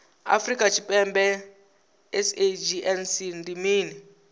afrika tshipembe sagnc ndi mini